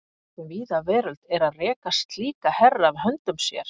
Fólk um víða veröld er að reka slíka herra af höndum sér.